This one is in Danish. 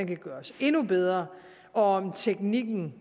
kan gøres endnu bedre og om teknikken